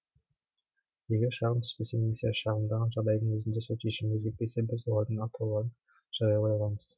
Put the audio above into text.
егер шағым түспесе немесе шағымданған жағдайдың өзінде сот шешімді өзгертпесе біз олардың атауларын жариялай аламыз